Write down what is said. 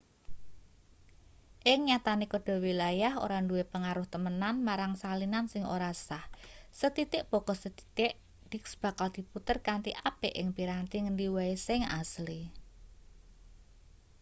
ing nyatane kode wilayah ora duwe pengaruh temenan marang salinan sing ora sah sethithik baka sethithik disk bakal diputer kanthi apik ing piranti ngendi wae sing asli